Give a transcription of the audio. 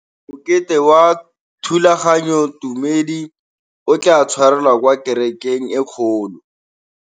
Mokete wa thulaganyôtumêdi o tla tshwarelwa kwa kerekeng e kgolo.